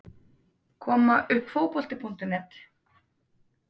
Koma uppfotbolti.net